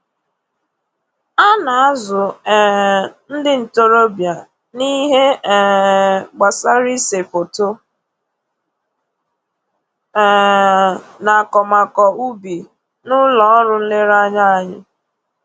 A na-azụ um ndị ntoroọbịa n'ihe um gbasara ise foto um na akọmakọ ubi n'ụlọ ọrụ nlereanya anyị